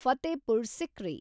Fatehpur Sikri